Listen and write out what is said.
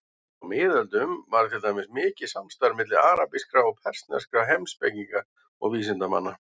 Á miðöldum var til dæmis mikið samstarf milli arabískra og persneskra heimspekinga og vísindamanna.